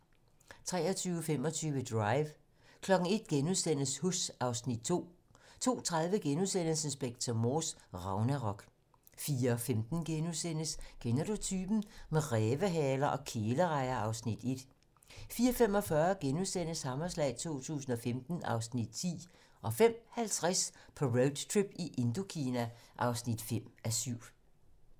23:25: Drive 01:00: Huss (Afs. 2)* 02:30: Inspector Morse: Ragnarok * 04:15: Kender du typen? - Med rævehaler og kælerejer (Afs. 1)* 04:45: Hammerslag 2015 (Afs. 10)* 05:50: På roadtrip i Indokina (5:7)